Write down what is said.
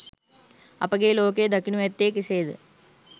අපගේ ලෝකය දකිනු ඇත්තේ කෙසේද?